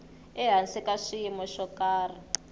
ehansi ka swiyimo swo karhi